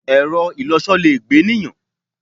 Ẹ̀rọ-ìlọsọ le gbé ènìyàn.